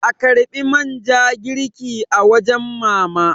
a karbi man ja girki a wajen mama!